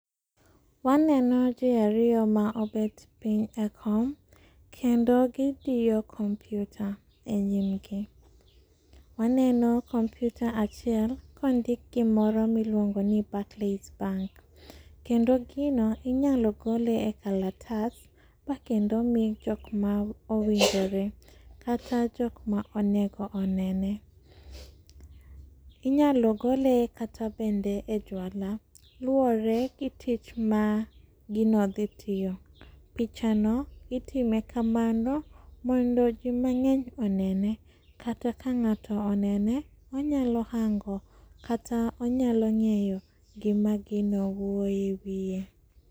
Waneno jii ariyo maobet piny e kom, kendo gidiyo kompyuta e nyimgi. Waneno kompyuta achiel kondik gimoro miluongoni Barclays bank, kendo gino inyalo gole e kalatas bakendo mi jokma owinjore kata jokma onego onene. Inyalo gole kata bende e jwala, luore gi tich magino dhitiyo. Pichano itime kamano mondo jii mang'eny onene, kata ka ng'ato onene onyalo hango, kata onyalo ng'eyo gima gina wuoye e wie.